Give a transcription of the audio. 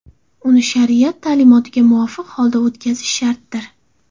Uni shariat ta’limotiga muvofiq holda o‘tkazish shartdir.